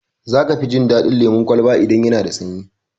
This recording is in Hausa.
Za ka fi jin daɗin lemun kwalba idan yana da sanyi.